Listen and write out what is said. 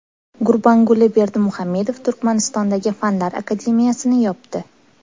Gurbanguli Berdimuhamedov Turkmanistondagi fanlar akademiyasini yopdi.